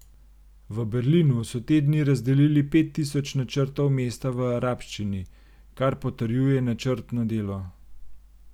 V Berlinu so te dni razdelili pet tisoč načrtov mesta v arabščini, kar potrjuje načrtno delo.